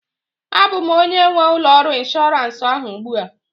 A bụ m onye nwe ụlọ ọrụ inshọransị ahụ ugbu a